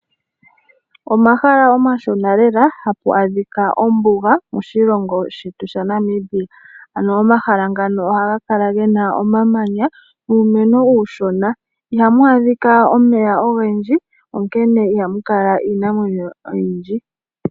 Omahala omashona lela hamu adhika ombuga moshilongo shetu shaNamibia. Mombuga oha mu kala muna omamanya nuumeno uushona. Iha mu adhika omeya ogendji na oha mukala owala iinamwenyo iishona.